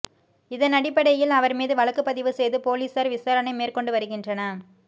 இதனடிப்படையில் அவர் மீது வழக்கு பதிவு செய்து போலீசார் விசாரணை மேற்கொண்டு வருகின்றன